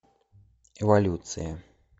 эволюция